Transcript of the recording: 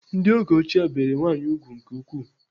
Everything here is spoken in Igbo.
Ndị oge ochie bere nwaanyị ùgwù nke ukwuu.